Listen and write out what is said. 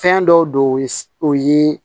Fɛn dɔw don o ye